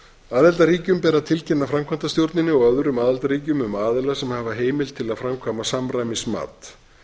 aðildarríkjum ber að tilkynna framkvæmdastjórninni og öðrum aðildarríkjum um aðila sem hafa heimild til að framkvæma samræmismat